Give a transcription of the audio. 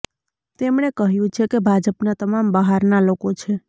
તેમણે કહ્યું છે કે ભાજપના તમામ બહારના લોકો છે